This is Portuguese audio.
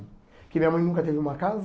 Porque minha mãe nunca teve uma casa.